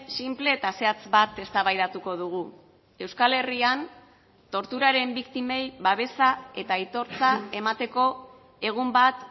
sinple eta zehatz bat eztabaidatuko dugu euskal herrian torturaren biktimei babesa eta aitortza emateko egun bat